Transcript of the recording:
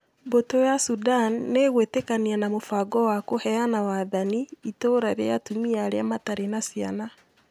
Mbũtũ ya Sudan nĩ ĩgwĩtĩkania na mũbango wa kũheana wathani "Itũũra rĩa Atumia Arĩa Matarĩ na Ciana".